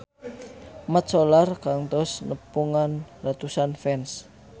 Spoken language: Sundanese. Mat Solar kantos nepungan ratusan fans